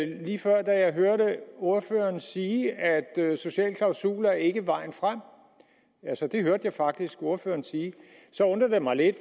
lige før da jeg hørte ordføreren sige at sociale klausuler ikke er vejen frem altså det hørte jeg faktisk ordføreren sige så undrer det mig lidt